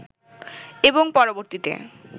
এবং পরবর্তীতে